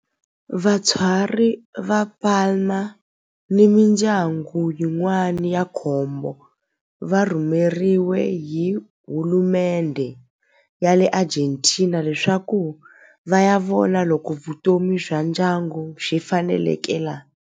Vatswari va Palma ni mindyangu yin'wana ya nkombo va rhumeriwe hi hulumendhe ya le Argentina leswaku va ya vona loko vutomi bya ndyangu byi faneleka laha.